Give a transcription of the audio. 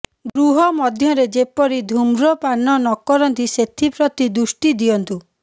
ଗୃହ ମଧ୍ୟରେ ଯେପରି ଧୂମ୍ରପାନ ନ କରନ୍ତି ସେଥିପ୍ରତି ଦୃଷ୍ଟି ଦିଅନ୍ତୁ